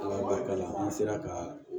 Ala barika la an sera ka